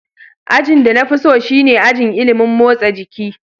Ajin da na fi so shine ajin ilimin motsa jiki.